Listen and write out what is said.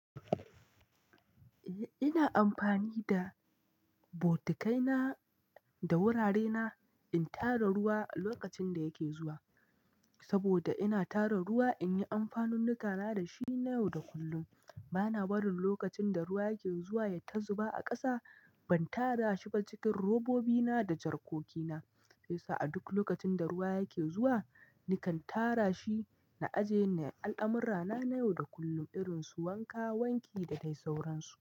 Eh, ina amfani da bokitai na da wurare na in tara ruwa lokacin da yake zuwa. Saboda ina tara ruwa in yi amfanunnuka na da shi na yau da kullum. Bana barin lokacin da ruwa yake zuwa yayi ta zuba a ƙasa. Ban tara shi ba cikin robobi na da jarkoki na. Sa'ad duk lokacin da ruwa yake zuwa, nikan tara shi na ajiye ne a al'amurra na, na yau da kullum irin su wanka, wanki da dai sauransu.